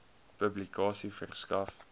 publikasie verskaf